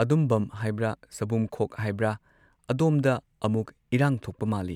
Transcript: ꯑꯗꯨꯝꯚꯝ ꯍꯥꯏꯕ꯭ꯔ ꯁꯕꯨꯝꯈꯣꯛ ꯍꯥꯏꯕ꯭ꯔ ꯑꯗꯣꯝꯗ ꯑꯃꯨꯛ ꯏꯔꯥꯡ ꯊꯣꯛꯄ ꯃꯥꯜꯂꯤ꯫